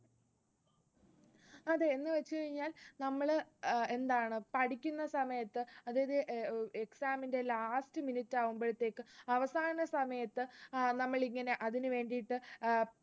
അതെ, എന്നു വെച്ചുകഴിഞ്ഞാൽ നമ്മള് അഹ് എന്താണ് പഠിക്കുന്ന സമയത്ത് അതായത് exam ന്റെ last minute ആകുമ്പോഴത്തേക്കും അവസാന സമയത്ത് അഹ് നമ്മളിങ്ങനെ അതിനു വേണ്ടിയിട്ട്